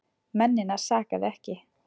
Mennina sakaði ekki.